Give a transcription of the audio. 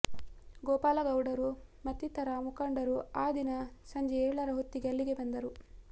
ಗೋಪಾಲಗೌಡರು ಮತ್ತಿತರ ಮುಖಂಡರು ಆ ದಿನ ಸಂಜೆ ಏಳರ ಹೊತ್ತಿಗೆ ಅಲ್ಲಿಗೆ ಬಂದರು